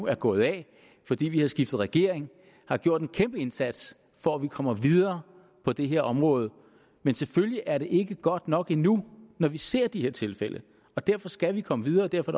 er gået af fordi vi har skiftet regering har gjort en kæmpe indsats for at vi kommer videre på det her område men selvfølgelig er det ikke godt nok endnu når vi ser de her tilfælde og derfor skal vi komme videre og derfor